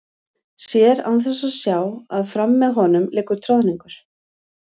Sér án þess að sjá að fram með honum liggur troðningur.